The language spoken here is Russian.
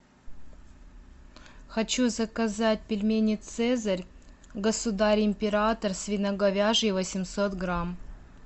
хочу заказать пельмени цезарь государь император свино говяжьи восемьсот грамм